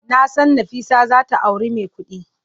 Nasan Nafisa zata auri mai kudi.